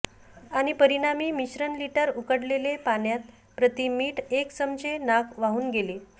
आणि परिणामी मिश्रण लिटर उकडलेले पाण्यात प्रति मीठ एक चमचे नाक वाहून गेले